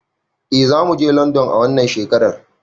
Eh zamuje london a wannan shekarar